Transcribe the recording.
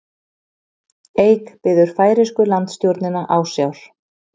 Eik biður færeysku landstjórnina ásjár